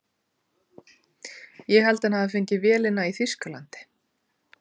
Ég held að hann hafi fengið vélina í Þýskalandi.